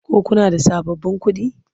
Ko kuna da sababbin kuɗi?